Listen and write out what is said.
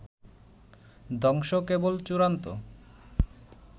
ধ্বংস কেবল চূড়ান্ত